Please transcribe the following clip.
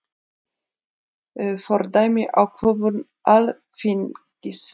Fordæmir ákvörðun Alþingis